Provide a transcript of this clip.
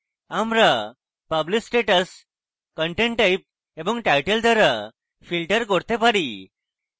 আমরা publish status content type এবং title দ্বারা filter করতে পারি